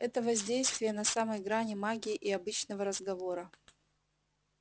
это воздействие на самой грани магии и обычного разговора